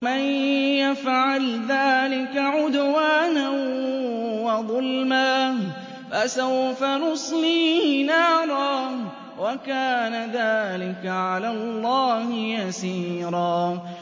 وَمَن يَفْعَلْ ذَٰلِكَ عُدْوَانًا وَظُلْمًا فَسَوْفَ نُصْلِيهِ نَارًا ۚ وَكَانَ ذَٰلِكَ عَلَى اللَّهِ يَسِيرًا